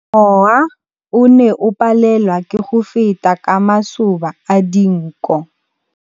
Mowa o ne o palelwa ke go feta ka masoba a dinko.